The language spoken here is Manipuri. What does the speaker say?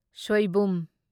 ꯁꯣꯢꯕꯨꯝ